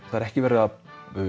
ekki verið að